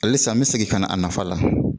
Halisa n bɛ segin ka na a nafa la